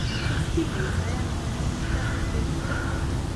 Tos kinyaii to ano anonychia congenita ?